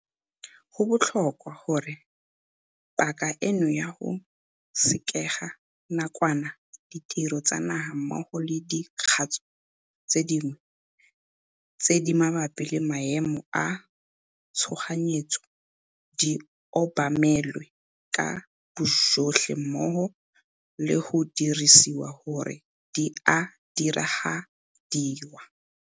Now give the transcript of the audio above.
Go botlhokwa gape gore paka eno ya go sekega nakwana ditiro tsa naga mmogo le dikgatso tse dingwe tse di mabapi le maemo a tshoganyetso di obamelwe ka bojotlhe mmogo le go disiwa gore di a diragadiwa.